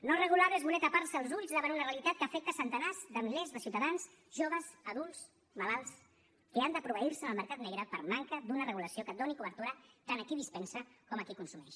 no regular ho és voler tapar se els ulls davant una realitat que afecta centenars de milers de ciutadans joves adults malalts que han de proveir se en el mercat negre per manca d’una regulació que doni cobertura tant a qui dispensa com a qui consumeix